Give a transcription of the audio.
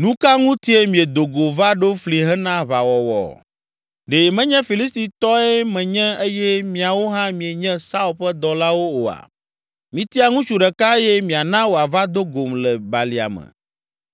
“Nu ka ŋutie miedo go va ɖo fli hena aʋawɔwɔ? Ɖe menye Filistitɔe menye eye miawo hã míenye Saul ƒe dɔlawo oa? Mitia ŋutsu ɖeka eye miana wòava do gom le balia me